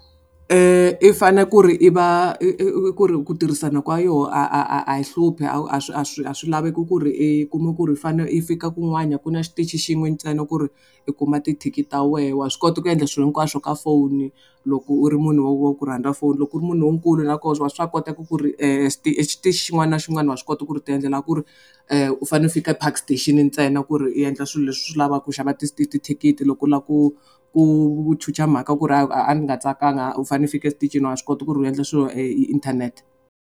I fane ku ri i va i ku ri ku tirhisana kwa yoho a a a a yi hluphi a swi a swi a swi laveki ku ri i kuma ku ri i fanele i fika kun'wana ku na xitichi xin'we ntsena ku ri i kuma tithikithi ta wehe wa swi kota ku endla swilo hinkwaswo ka foni loko u ri munhu wa ku rhandza foni loko u ri munhu lonkulu na koho wa swa koteka ku ri xin'wana na xin'wana wa swi kota ku ri ti endlela ku ri u fane u fika Park Station ntsena ku ri u endla swilo leswi swi lavaka ku xava thikithi loko u lava ku ku chucha mhaka ku ri a a nga tsakanga u fanele u fika exitichini wa swi kota ku ri u endla swilo inthanete.